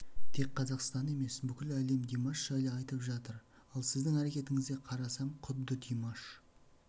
тек қазақстан емес бүкіл әлем димаш жайлы айтып жатыр ал сіздің әрекетіңізге қарасам құдды димаш